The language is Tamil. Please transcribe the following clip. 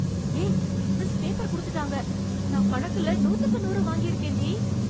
ஏய், மிஸ் பேப்பர் குடுத்துட்டாங்க, நான் கணக்குல நூத்துக்கு நூறு வாங்கி இருக்கேன்டி.